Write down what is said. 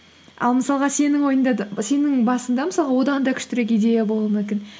ал мысалға сенің ойында да сенің басында мысалға одан да күштірек идея болуы мүмкін